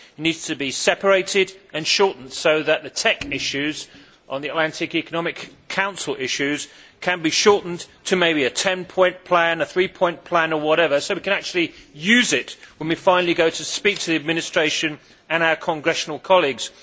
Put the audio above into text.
It needs to be separated and shortened the Transatlantic Economic Council issues could be shortened to maybe a 10 point plan, a three point plan or whatever, so that we can actually use it when we finally go to speak to the Administration and our Congressional colleagues.